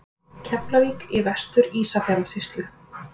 Keflavík í Vestur-Ísafjarðarsýslu.